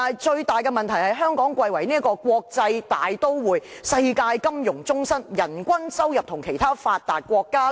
最大的問題是，香港貴為國際大都會、世界金融中心，人均收入與其他發達國家......